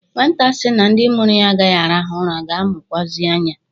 Nwata sị na ndị mụrụ ya agaghị arahụ ụra ga-amụkwuazị anya.